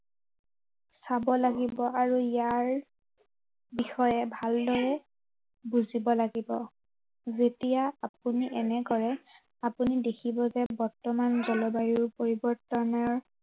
চাব লাগিব আৰু ইয়াৰ, বিষয়ে ভালদৰে বুজিব লাগিব। যেতিয়া আপুনি এনে কৰে, আপুনি দেখিব যে বৰ্তমান জলবায়ু পৰিৱৰ্তনৰ